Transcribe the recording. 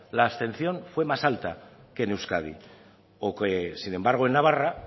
la abstención fue más alta que en euskadi o que sin embargo en navarra